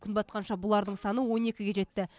күн батқанша бұлардың саны он екіге жетті